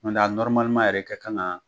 N nɔrɔmaliman yɛrɛ kɛ kan ka